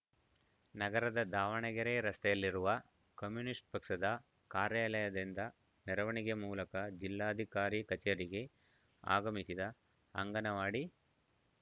ನಗರದ ದಾವಣಗೆರೆ ರಸ್ತೆಯಲ್ಲಿರುವ ಕಮ್ಯುನಿಸ್ಟ್‌ ಪಕ್ಷದ ಕಾರ್ಯಾಲಯದಿಂದ ಮೆರವಣಿಗೆ ಮೂಲಕ ಜಿಲ್ಲಾಧಿಕಾರಿ ಕಚೇರಿಗೆ ಆಗಮಿಸಿದ ಅಂಗನವಾಡಿ